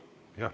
Jah, aitäh!